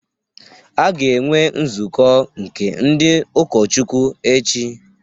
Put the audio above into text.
A ga-enwe nzukọ nke ndị ụkọchukwu echi